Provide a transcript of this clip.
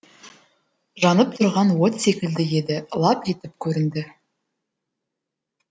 жанып тұрған от секілді еді лап етіп көрінді